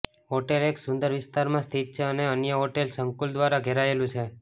hotel એક સુંદર વિસ્તારમાં સ્થિત છે અને અન્ય હોટેલ સંકુલ દ્વારા ઘેરાયેલું છે